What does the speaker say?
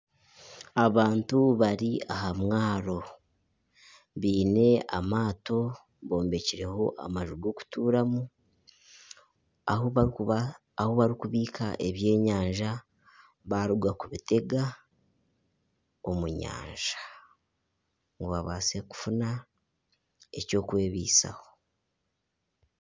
Abantu bari aha mwaro baine amato gombekireho amaju g'okutuuramu ahu barikubiika ebyenyanja baruga kubitega omu nyanja ngu babaase kufuna eky'okwebisaho.